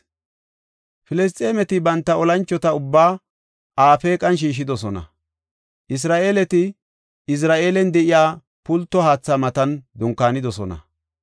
Filisxeemeti banta olanchota ubbaa Afeeqan shiishidosona. Isra7eeleti Izira7eelen de7iya pulto haatha matan dunkaanidosona.